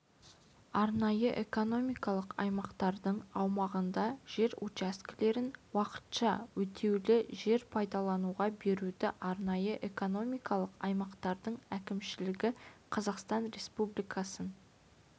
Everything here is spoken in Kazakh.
арнайы экономикалық аймақтың аумағында жер учаскелерін уақытша өтеулі жер пайдалануға беруді арнайы экономикалық аймақтың әкімшілігі қазақстан республикасының